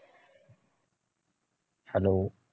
hello